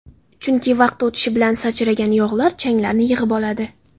Chunki vaqt o‘tishi bilan sachragan yog‘lar changlarni yig‘ib oladi.